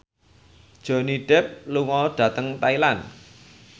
Johnny Depp lunga dhateng Thailand